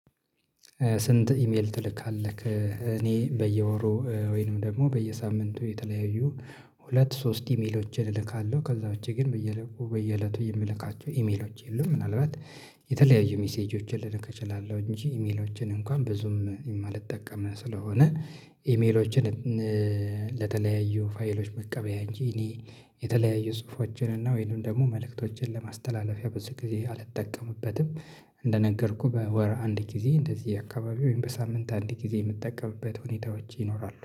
ስንት ኢሜል ትልካለክ? እኔ በየወሩ ወይንም ደግሞ በየሳምንቱ የተለያዩ ሁለት ሶስት ኢሜሎችን እልካለሁ ከዛ ውጪ ግን በየእለቱ በየእለቱ የምልካቸው ኢሜሎች የሉም። ምናልባት የተለያዩ ሜሴጆችን ልልክ እችላለሁ እንጂ ኢሜሎችን እንኳን ብዙም የማልጠቀም ስለሆነ። ኢሜሎችን ለተለያዩ ፋይሎች መቀበያ እንጂ እኔ የተለያዩ ጽሁፎችን እና ወይንም ደግሞ መልእክቶችን ለማስተላለፊያ ብዙ ጊዜ አልጠቀምበትም። እንደነገርኩህ በወር አንድ ጊዜ እንደዚህ አካባቢ ወይም በሳምንት አንድ ጊዜ የምጠቀምበት ሁኔታዎች ይኖራሉ